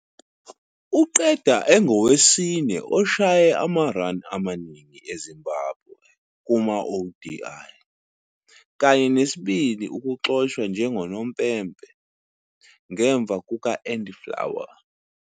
Uqeda engowesine oshaye ama-run amaningi e-Zimbabwe kuma-ODI kanye nesibili ukuxoshwa njengonompempe, ngemuva kuka- Andy Flower.